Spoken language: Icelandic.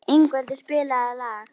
Ingveldur, spilaðu lag.